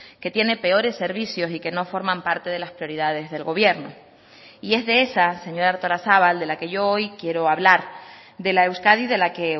que tiene peores servicios y que no forman parte de las prioridades del gobierno y es de esas señora artolazabal de la que yo hoy quiero hablar de la euskadi de la que